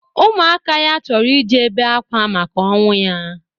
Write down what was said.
Ụmụaka ya chọrọ ije bee akwa maka ọnwụ ya